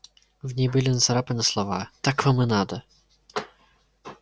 в ней были нацарапаны слова так вам и надо